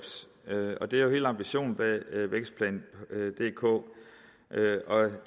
og det er jo helt ambitionen bag vækstplan dk